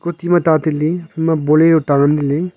tih ma ta taile phaima bolero ta ngan taile.